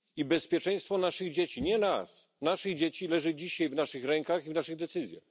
Bezpieczeństwo naszych dzieci nie nas, ale naszych dzieci leży dzisiaj w naszych rękach i zależy od naszych decyzji.